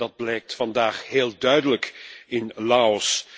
Dat blijkt vandaag heel duidelijk in Laos.